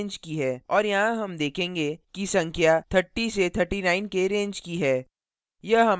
और यहाँ हम देखेंगे कि संख्या 30 से 39 के range की है